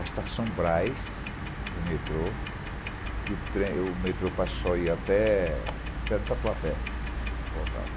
a Estação Brás, do metrô, que o trem o metrô passou e ia até o Tatuapé, e voltava.